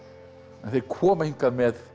en þeir koma hingað með